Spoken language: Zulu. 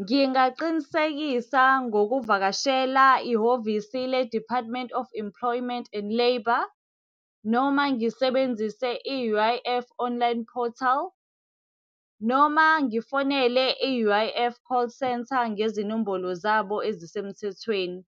Ngingaqinisekisa ngokuvakashela ihhovisi le-Department of Employment and Labour. Noma ngisebenzise i-U_I_F online portal. Noma ngifonele i-U_I_F call centre ngezinombolo zabo ezisemthethweni.